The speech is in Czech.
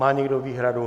Má někdo výhradu?